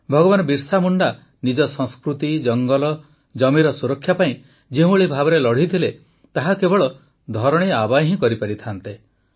ଭଗବାନ ବିର୍ସା ମୁଣ୍ଡା ନିଜ ସଂସ୍କୃତି ଜଙ୍ଗଲ ଜମିର ସୁରକ୍ଷା ପାଇଁ ଯେଉଁଭଳି ଭାବରେ ଲଢ଼ିଥିଲେ ତାହା କେବଳ ଧରଣୀ ଆବା ହିଁ କରିପାରିଥାନ୍ତେ